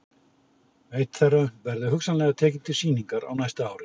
Einn þeirra verði hugsanlega tekinn til sýningar á næsta ári.